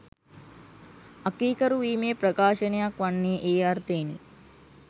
අකීකරුවීමේ ප්‍රකාශනයක් වන්නේ ඒ අර්ථයෙනි.